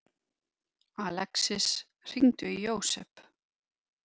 Alexis, hringdu í Jósep.